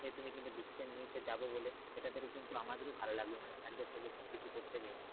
সে তুমি কিন্তু decision নিয়েছো যাবো বলে এটাতে কিন্তু আমাদেরই খুব ভালো লাগলো মানে sir দের সাথে কিছু করতে পেরে,